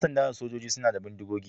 Yan sanda da sojoji suna da bindigogi.